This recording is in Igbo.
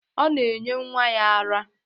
Ọ na-enye nwa ya ara.